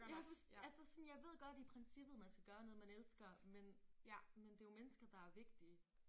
Jeg altså sådan jeg ved godt i princippet man skal gøre noget man elsker men men det jo mennesker der er vigtige